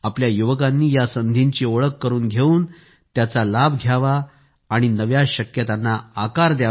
आपल्या युवकांनी या संधींची ओळख करून घेऊन त्यांचा लाभ घ्यावा आणि नव्या शक्यतांना आकार द्यावा